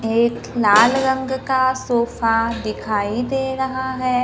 एक लाल रंग का सोफा दिखाई दे रहा है।